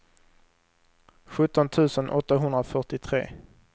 sjutton tusen åttahundrafyrtiotre